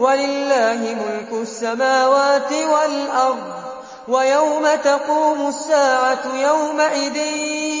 وَلِلَّهِ مُلْكُ السَّمَاوَاتِ وَالْأَرْضِ ۚ وَيَوْمَ تَقُومُ السَّاعَةُ يَوْمَئِذٍ